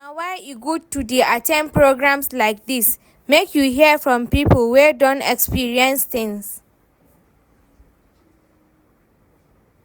Na why e good to dey at ten d programs like dis, make you hear from people wey don experience things